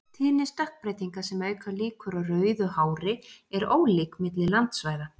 Tíðni stökkbreytinga sem auka líkur á rauðu hári er ólík milli landsvæða.